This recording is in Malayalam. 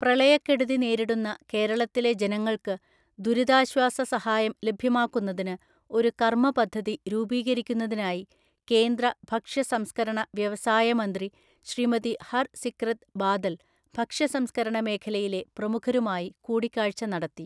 പ്രളയക്കെടുതി നേരിടുന്ന കേരളത്തിലെ ജനങ്ങള്‍ക്ക് ദുരിതാശ്വാസ സഹായം ലഭ്യമാക്കുന്നതിന് ഒരു കർമ്മ പദ്ധതി രൂപീകരിക്കുന്നതിനായി കേന്ദ്ര ഭഷ്യ സംസ്ക്കരണ വ്യവസായ മന്ത്രി ശ്രീമതി ഹര്‍ സിക്രത് ബാദല്‍ ഭക്ഷ്യ സംസ്ക്കരണ മേഖലയിലെ പ്രമുഖരുമായി കൂടിക്കാഴ്ച നടത്തി.